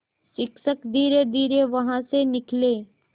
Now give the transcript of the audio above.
शिक्षक धीरेधीरे वहाँ से निकले